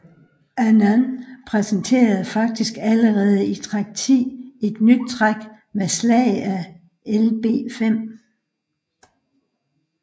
Anand præsenterede faktisk allerede i træk 10 et nyt træk med slag af Lb5